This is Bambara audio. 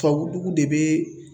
Tubabu dugu de bɛ